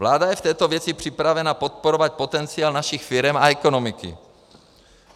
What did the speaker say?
Vláda je v této věci připravena podporovat potenciál našich firem a ekonomiky.